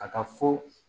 Ka taa fo